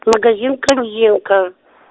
магазин корзинка